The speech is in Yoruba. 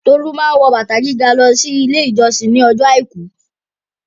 Tolú máa ń wọ bàtà gíga lọ Ilé-ìjọsìn ní ọjọ́ àìkú.